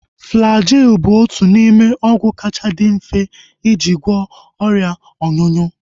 Flajil bụbu otu n'ime ọgwụ kacha dị mfe eji agwọ ọrịa ọnyụnyụ